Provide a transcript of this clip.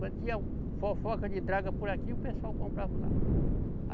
Quando tinha fofoca de draga por aqui, o pessoal comprava lá.